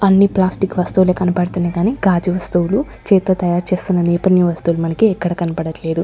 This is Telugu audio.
అన్ని ప్లాస్టిక్ వస్తువులే కన్పడుతున్నాయి కానీ గాజు వస్తువులు చేత్తో తయారు చేస్తున్న నేపన్ని వస్తువులు మనకి ఎక్కడ కనపడట్లేదు.